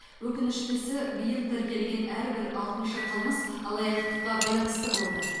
өкініштісі биыл тіркелген әрбір алтыншы қылмыс алаяқтыққа байланысты болды